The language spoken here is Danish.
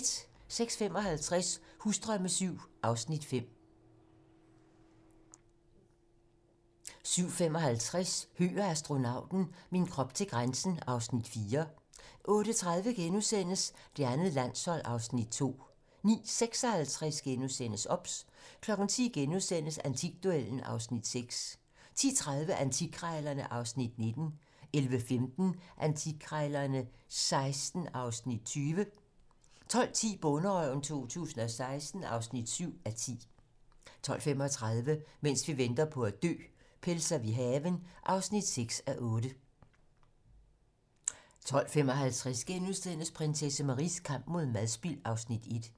06:55: Husdrømme VII (Afs. 5) 07:55: Høgh og astronauten - min krop til grænsen (Afs. 4) 08:30: Det andet landshold (Afs. 2)* 09:56: OBS * 10:00: Antikduellen (Afs. 6)* 10:30: Antikkrejlerne (Afs. 19) 11:15: Antikkrejlerne XVI (Afs. 20) 12:10: Bonderøven 2016 (7:10) 12:35: Mens vi venter på at dø - Pelser vi haven (6:8) 12:55: Prinsesse Maries kamp mod madspild (Afs. 1)*